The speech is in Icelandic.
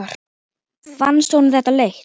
Fannst honum þetta leitt?